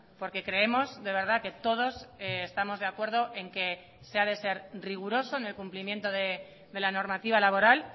porque creemos de verdad que todos estamos de acuerdo en que se ha de ser riguroso en el cumplimiento de la normativa laboral